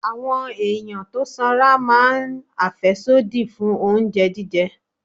Àwọn ẹ̀yàn tó sanra máa ń àfẹ́sódì fún oúnjẹ jíjẹ.